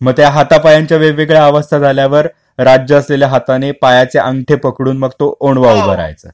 मग ते हातापायांच्या वेगवेगळ्या अवस्था झाल्यावर राज्य असलेल्या हाताने पायचे अंगठे पकडून मग तो ओणवा उभा रहायचा.